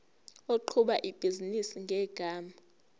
oqhuba ibhizinisi ngegama